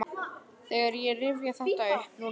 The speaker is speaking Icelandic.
Þegar ég rifja þetta upp núna finn ég fyrir ótta.